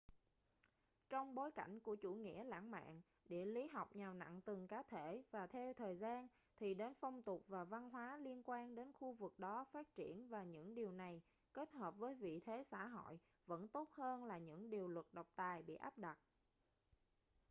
trong bối cảnh của chủ nghĩa lãng mạn địa lý học nhào nặn từng cá thể và theo thời gian thì đến phong tục và văn hóa liên quan đến khu vực đó phát triển và những điều này kết hợp với vị thế xã hội vẫn tốt hơn là những điều luật độc tài bị áp đặt